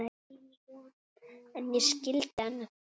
En ég skildi hana.